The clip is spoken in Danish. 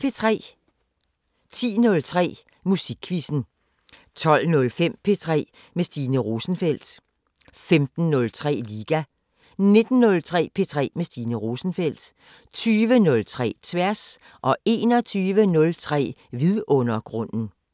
10:03: Musikquizzen 12:05: P3 med Stine Rosenfeldt 15:03: Liga 19:03: P3 med Stine Rosenfeldt 20:03: Tværs 21:03: Vidundergrunden